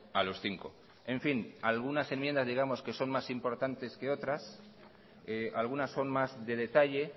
a los cinco en fin algunas enmiendas digamos que son más importantes que otras algunas son más de detalle